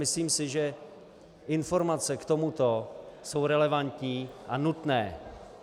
Myslím si, že informace k tomuto jsou relevantní a nutné.